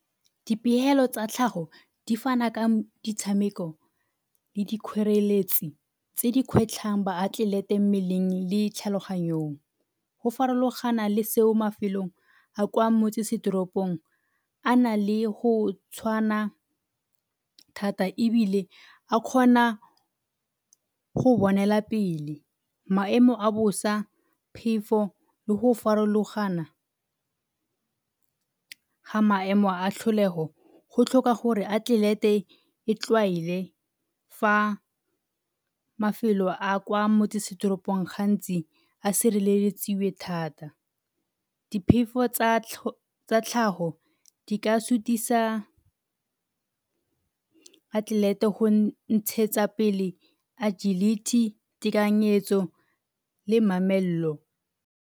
Dipegelo tsa tlhago di fana ka ditshameko le dikgoreletsi tse dikgwetlhang baatlelete mmeleng le tlhaloganyong. Go farologana le seo mafelong a kwa motsesetoropong a na le go tshwana thata ebile a kgona go bonela pele maemo a bosa, phefo le go farologana ga maemo a tlholego go tlhoka gore atlelete e tlwaele fa mafelo a kwa motsesetoropong gantsi a sireletsiwe thata. Diphefo tsa tlhago di ka sutisa atlelete go ntshetsa pele agility, tekanyetso le mamello.